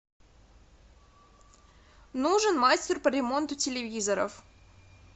нужен мастер по ремонту телевизоров